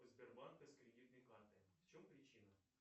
сбербанка с кредитной карты в чем причина